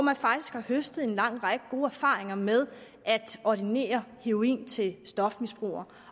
har faktisk høstet en lang række gode erfaringer med at ordinere heroin til stofmisbrugere